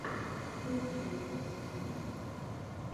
что у тебя есть из фильмов